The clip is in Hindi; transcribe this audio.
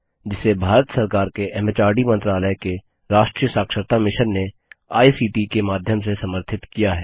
जिसे भारत सरकार के एमएचआरडी मंत्रालय के राष्ट्रीय साक्षरता मिशन ने आई सीटी के माध्यम से समर्थित किया है